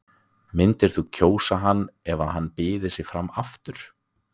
Myndir þú kjósa hann ef hann byði sig fram aftur?